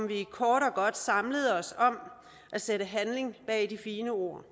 vi kort og godt samlede os om at sætte handling bag de fine ord